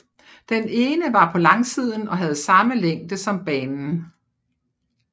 Den ene var på langsiden og havde samme længde som banen